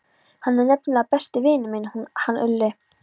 Hann er nefnilega besti vinur minn, hann Úlli.